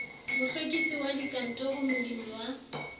mohlwekisi wa dikantoro molemi wa